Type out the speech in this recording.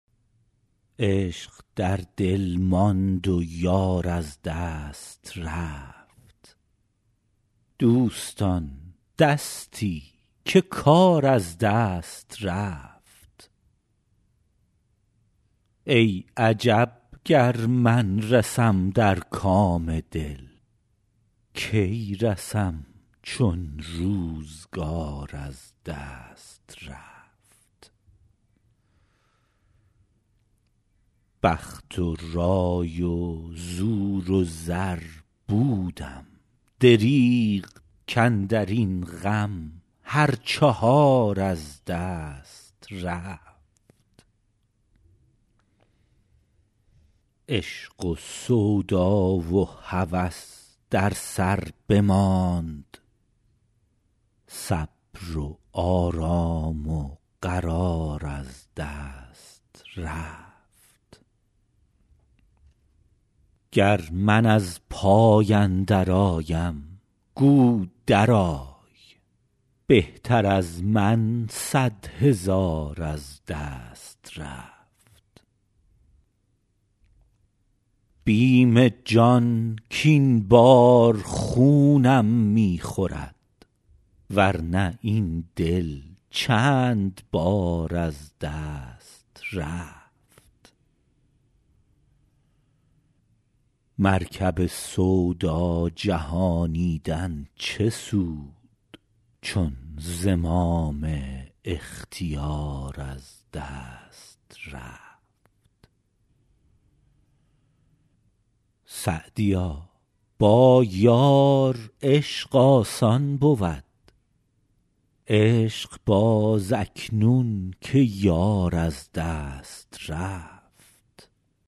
عشق در دل ماند و یار از دست رفت دوستان دستی که کار از دست رفت ای عجب گر من رسم در کام دل کی رسم چون روزگار از دست رفت بخت و رای و زور و زر بودم دریغ کاندر این غم هر چهار از دست رفت عشق و سودا و هوس در سر بماند صبر و آرام و قرار از دست رفت گر من از پای اندرآیم گو درآی بهتر از من صد هزار از دست رفت بیم جان کاین بار خونم می خورد ور نه این دل چند بار از دست رفت مرکب سودا جهانیدن چه سود چون زمام اختیار از دست رفت سعدیا با یار عشق آسان بود عشق باز اکنون که یار از دست رفت